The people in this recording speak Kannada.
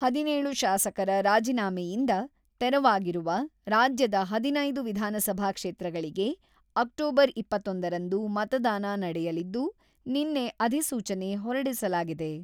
ಹದಿನೇಳು ಶಾಸಕರ ರಾಜಿನಾಮೆಯಿಂದ ತೆರವಾಗಿರುವ, ರಾಜ್ಯದ ಹದಿನೈದು ವಿಧಾನಸಭಾ ಕ್ಷೇತ್ರಗಳಿಗೆ ಅಕ್ಟೋಬರ್ ಇಪ್ಪತ್ತೊಂದರಂದು ಮತದಾನ ನಡೆಯಲಿದ್ದು, ನಿನ್ನೆ ಅಧಿಸೂಚನೆ ಹೊರಡಿಸಲಾಗಿದೆ.